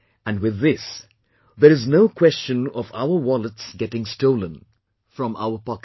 And with this there is no question of our wallets getting stolen from our pocket